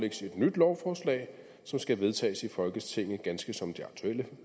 et nyt lovforslag som skulle vedtages i folketinget ganske som det aktuelle